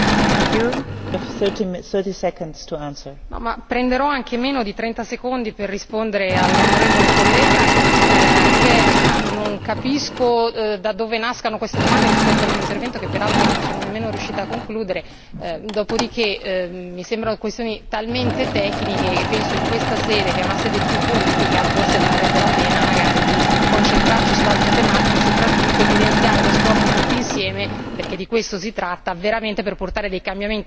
Signora Presidente, onorevoli colleghi, prenderò anche meno di trenta secondi per rispondere all'onorevole collega, anche perché non capisco da dove nascano queste domande rispetto al mio intervento, che peraltro non sono nemmeno riuscita a concludere. Dopodiché, mi sembrano questioni talmente tecniche che, penso, in questa sede, che è una sede più politica, forse varrebbe la pena magari di concentrarci su altre tematiche e soprattutto evidenziare lo sforzo tutti insieme perché di questo si tratta per portare dei cambiamenti fin da ora alle politiche di cambiamento climatico.